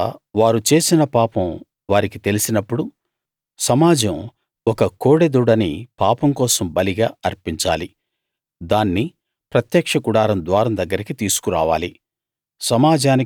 తరువాత వారు చేసిన పాపం వారికి తెలిసినప్పుడు సమాజం ఒక కోడెదూడని పాపం కోసం బలిగా అర్పించాలి దాన్ని ప్రత్యక్ష గుడారం ద్వారం దగ్గరికి తీసుకురావాలి